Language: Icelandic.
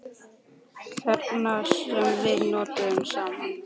Þagnir sem við nutum saman.